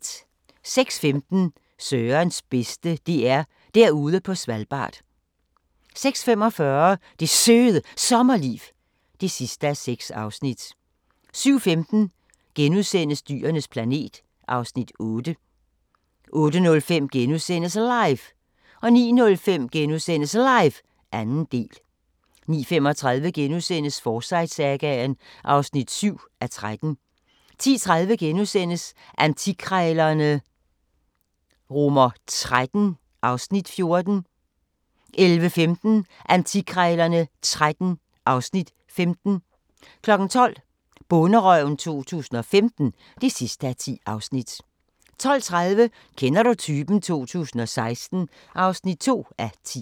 06:15: Sørens bedste: DR Derude på Svalbard 06:45: Det Søde Sommerliv (6:6) 07:15: Dyrenes planet (Afs. 8)* 08:05: LIVE * 09:05: LIVE – 2. del * 09:35: Forsyte-sagaen (7:13)* 10:30: Antikkrejlerne XIII (Afs. 14)* 11:15: Antikkrejlerne XIII (Afs. 15) 12:00: Bonderøven 2015 (10:10) 12:30: Kender du typen? 2016 (2:10)